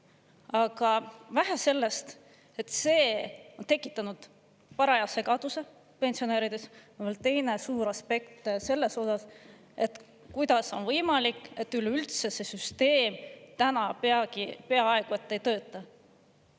Aga vähe sellest, et see on tekitanud paraja segaduse pensionärides, teine suur aspekt selles osas, et kuidas on võimalik, et üleüldse see süsteem täna peaaegu et ei tööta.